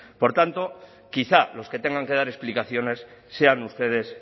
por tanto quizá los que tengan que dar explicaciones sean ustedes